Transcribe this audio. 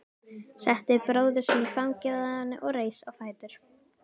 Setti bróður sinn í fangið á henni og reis á fætur.